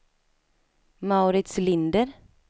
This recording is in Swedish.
Mauritz Linder